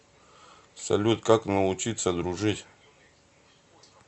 салют как научиться дружить